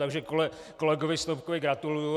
Takže kolegovi Snopkovi gratuluji.